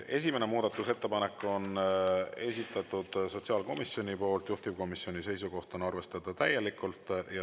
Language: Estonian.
Esimese muudatusettepaneku on esitanud sotsiaalkomisjon, juhtivkomisjoni seisukoht on arvestada täielikult.